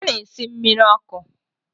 Ha na-esi mmiri ọkụ.